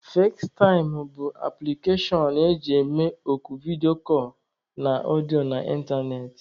Fazetaịm bụ apụlikashon eji eme oku vidiyo na ọdịọ na ịntanetị.